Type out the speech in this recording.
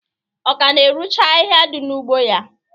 Ọ ka na-erucha ahihia dị n'ugbo ya?